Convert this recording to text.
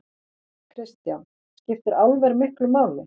Kristján: Skiptir álver miklu máli?